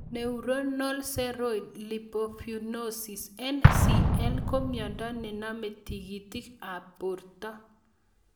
Neuronal ceroid lipofuscinosis (NCL) ko miondo nenamie tig'itik ab porto